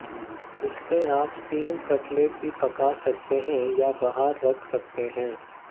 इससे आप steam cutlet भी पका सकते हैं या बाहर रख सकते हैं